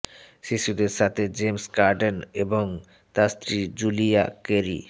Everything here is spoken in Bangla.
শিশুদের সাথে জেমস কর্ডেন এবং তার স্ত্রী জুলিয়া কেরী